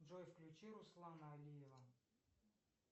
джой включи руслана алиева